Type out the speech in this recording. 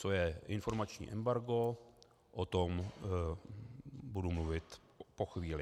Co je informační embargo, o tom budu mluvit po chvíli.